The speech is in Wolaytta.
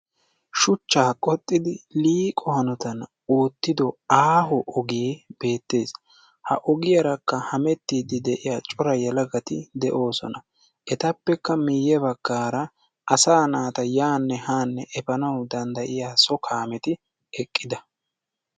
Shuchchaa qoxxidi liiqo hanotan oottido aaho ogee beettees. Ha ogiyaarakka hamettiiddi de'iya cora yelagati de'oosona. Etappekka miyye baggaara asaa naata yaanne haanne efanawu maadddiyaa so kaameti eqqida.